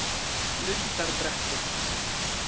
Lundarbrekku